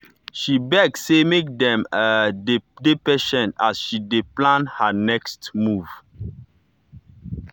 she beg say make dem um dey patient as she dey plan her next move.